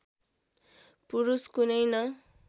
पुरुष कुनै न